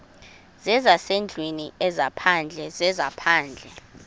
zezasendlwini ezaphandle zezaphandle